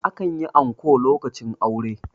akan yi anko lokacin aure